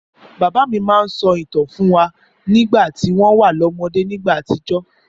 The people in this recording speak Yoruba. Bàbá mi máa ń sọ ìtàn fún wa nígbà tó wà lọ́mọdé nígbà àtijọ́.